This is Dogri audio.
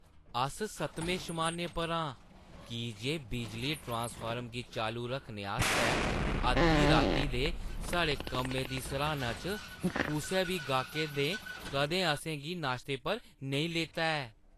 अस सतमें शमानै पर आं की जे बिजली ट्रांसफॉर्मर गी चालू रक्खने आस्तै अद्धी राती दे साढ़े कम्मै दी सराह्‌ना च कुसै बी गाह्कै ने कदें असें गी नाश्ते पर नेईं लेता ऐ।